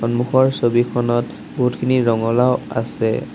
সন্মুখৰ ছবিখনত বহুতখিনি ৰঙলাও আছে।